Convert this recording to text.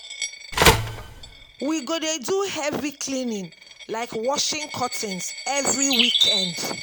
We go dey do heavy cleaning like washing curtains every weekend.